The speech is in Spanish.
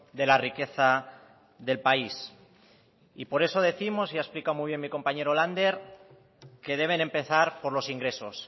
de la riqueza del país y por eso décimos y ha explicado muy bien mi compañero lander que deben empezar por los ingresos